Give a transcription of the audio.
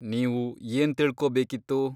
ನೀವು ಏನ್ ತಿಳ್ಕೋಬೇಕಿತ್ತು?